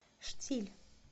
штиль